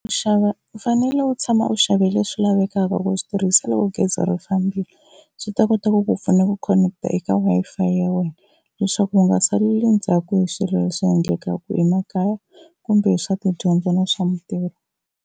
U xava u fanele u tshama u xave leswi lavekaka ku swi tirhisa loko gezi ri fambile, swi ta kota ku ku pfuna ku khoneketa eka Wi-Fi ya wena leswaku u nga saleli ndzhaku hi swilo leswi endlekaka emakaya kumbe hi swa tidyondzo na swa mintirho.